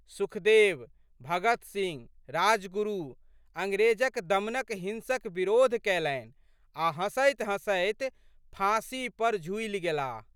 सुखदेव, भगतसिंह राजगुरु अंग्रेजक दमनक हिंसक बिरोध कयलनि आ' हँसैतहँसैत फाँसी पर झूलि गेलाह।